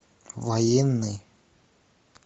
военный